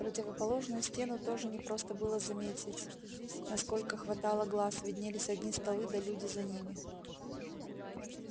противоположную стену тоже не просто было заметить насколько хватало глаз виднелись одни столы да люди за ними